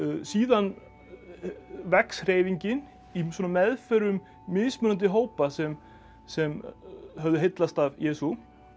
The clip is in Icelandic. síðan vex hreyfingin í svona meðförum mismunandi hópa sem sem höfðu heillast af Jesú